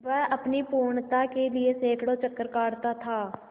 वह अपनी पूर्णता के लिए सैंकड़ों चक्कर काटता था